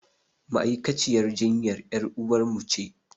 Ma'aikaciyar jinyan ƴaruwar mu ce